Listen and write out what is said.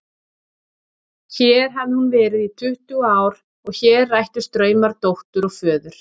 Hér hafði hún verið í tuttugu ár og hér rættust draumar dóttur og föður.